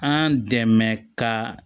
An dɛmɛ ka